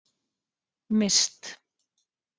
Mist